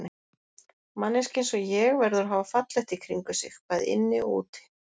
Manneskja einsog ég verður að hafa fallegt í kringum sig, bæði inni og úti.